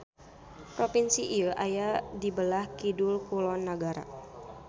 Propinsi ieu aya di beulah kidul-kulon nagara.